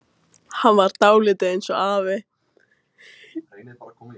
Hann var dálítið eins og afi.